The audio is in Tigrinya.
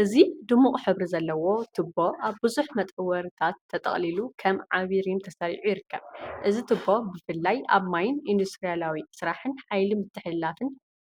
እዚ ድሙቕ ሕብሪ ዘለዎ ቱቦ ኣብ ብዙሕ መጠወሪታት ተጠቕሊሉ ከም ዓቢ ሪም ተሰሪዑ ይርከብ። እዚ ቱቦ ብፍላይ ኣብ ማይን ኢንዱስትርያዊ ስራሕን ሓይሊ ምትሕልላፍ